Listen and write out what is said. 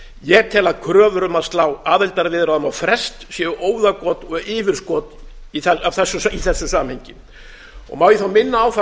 ég tel að kröfur um að slá aðildarviðræðum á frest séu óðagot og yfirskot í þessu samhengi má ég þá minna á það